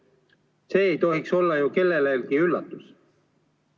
See ei tohiks olla ju kellelegi üllatus.